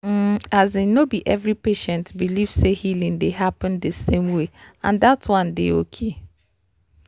ehm asin no be every patient believe say healing dey happen di same way and that one dey okay